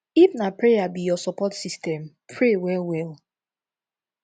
if na prayer be yur sopport system pray well well